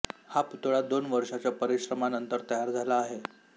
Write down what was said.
हा पुतळा दोन वर्षाच्या परिश्रमानंतर तयार झाला आहे